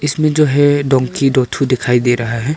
इसमें जो है डोंकी दो ठो दिखाई दे रहा है।